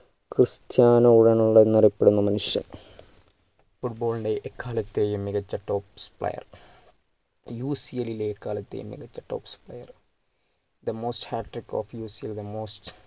Cristiano Ronaldo എന്നറിയപ്പെടുന്ന മനുഷ്യൻ football ൻ്റെ എക്കാലത്തെയും മികച്ച tops playerUCL ലെ എക്കാലത്തെയും മികച്ച tops playerThe most hatric of theUCLthe most